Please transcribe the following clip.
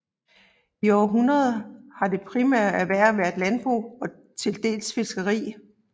I århundreder har det primære erhverv været landbrug og tildels fiskeri